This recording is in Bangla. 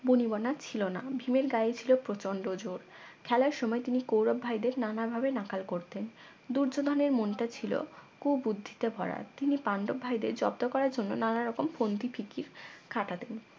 বনিবনা ছিল না ভীমের গায়ে ছিল প্রচন্ড জোর খেলার সময় তিনি কৌরব ভাইদের নানাভাবে নাকাল করতেন দূর্যোধন এর মনটা ছিল কুবুদ্ধিতে ভরা তিনি পাণ্ডব ভাইদের জব্দ করার জন্য নানারকম ফন্দিফিকির খাটাতেন